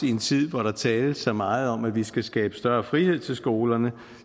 i en tid hvor der tales så meget om at vi skal skabe større frihed til skolerne